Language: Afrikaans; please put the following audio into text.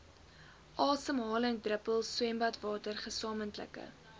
asemhalingsdruppels swembadwater gesamentlike